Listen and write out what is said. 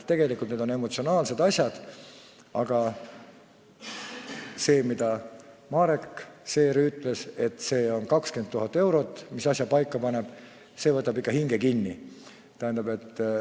Tegelikult on need emotsionaalsed asjad, aga see, mida Marek Seer ütles, et 20 000 eurot panevad asja paika, võtab ikka hinge kinni.